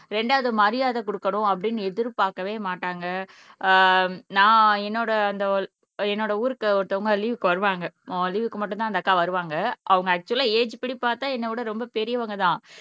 இரண்டாவது மரியாதை கொடுக்கணும் அப்படின்னு எதிர்பார்க்கவே மாட்டாங்க ஆஹ் நான் என்னோட அந்த என்னோட ஊருக்கு ஒருத்தவங்க லீவுக்கு வருவாங்க லீவுக்கு மட்டும்தான் அந்த அக்கா வருவாங்க அவங்க ஆக்சுவலா ஏஜ் படிப்பார்த்தா என்ன விட ரொம்ப பெரியவங்க தான்